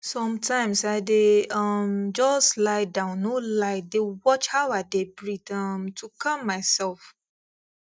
sometimes i dey um just lie down no lie dey watch how i dey breathe um to calm myself